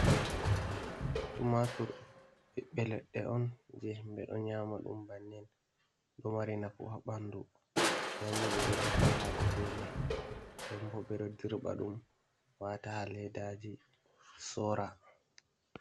Tumatur be belenda on je ɓeɗo nyama ɗum bannen ɗo mari nako ha ɓandu, ndembo ɓeɗo defa hako be mai, dembo bedo dirɓa ɗum wata ha leddaji sora.